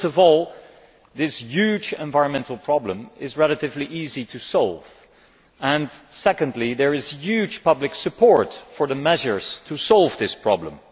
First of all, this huge environmental problem is relatively easy to solve and, secondly, there is huge public support for the measures to solve this problem.